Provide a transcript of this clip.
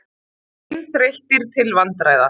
Seinþreyttir til vandræða.